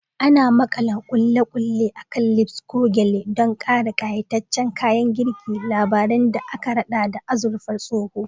Ana makala ƙulle-ƙulle a kan lapels ko gyale don ƙara ƙayataccen kayan girki, labaran da aka raɗa da azurfar tsoho.